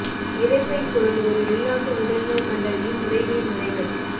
இரைப்பை குடல் ஒரு வெளிநாட்டு உடல் நோய் கண்டறியும் முறைமை முறைகள்